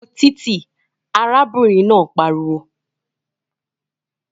Mú u fo títì! Arábìnrin náà pariwo